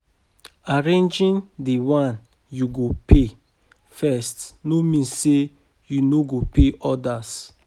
Arranging the one yu go pay first no mean say yu no go pay odas.